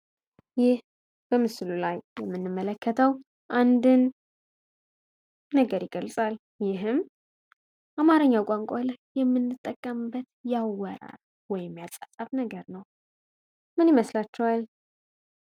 ይህ በምስሉ ላይ የምንመለከተዉ አንድን ነገር ይገልፃል። ይህም አማረኛ ቋንቋን ላይ የምንጠቀምበት ወይም የአፃፃፍ ነገር ነዉ። ምን ይመስላችኋል?